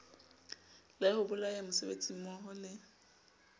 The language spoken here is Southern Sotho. la ho bolaya mosebetsimmoho le